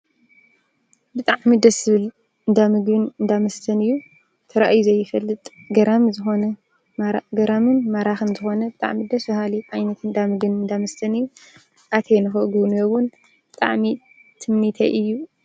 ብጣዕሚ ደስ ዝብል እንዳ ምግብን እንዳ መስተን እዩ፡፡ ተራእዩ ዘይፈልጥ ገራምን ማራኽን ብጣዕሚ ደስ በሃሊ ዓይነት እንዳምግብን እንዳመስተን እዩ፡፡ ኣትየ ንኽጉብንዮ እውን ብጣዓሚ ትምኒተይ እዩ፡፡